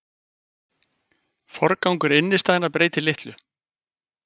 Forgangur innistæðna breytir litlu